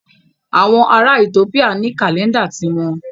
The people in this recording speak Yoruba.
Àwọn ará Ethiopia ní kàlẹ́ńdà ti wọn.